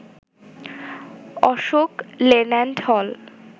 Ashok Leyland হল